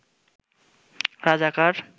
রাজাকার